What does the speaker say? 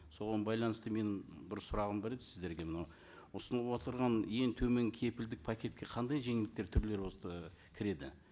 соған байланысты менің бір сұрағым бар еді сіздерге мынау ұсынып отырған ең төмен кепілдік пакетке қандай жеңілдіктер түрлері кіреді